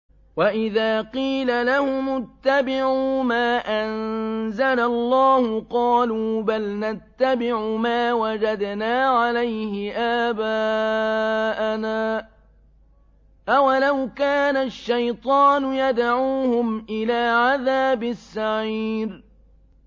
وَإِذَا قِيلَ لَهُمُ اتَّبِعُوا مَا أَنزَلَ اللَّهُ قَالُوا بَلْ نَتَّبِعُ مَا وَجَدْنَا عَلَيْهِ آبَاءَنَا ۚ أَوَلَوْ كَانَ الشَّيْطَانُ يَدْعُوهُمْ إِلَىٰ عَذَابِ السَّعِيرِ